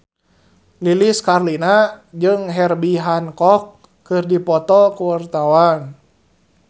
Lilis Karlina jeung Herbie Hancock keur dipoto ku wartawan